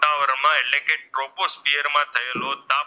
કે ટ્રોપોસ્ફિયર થયેલો,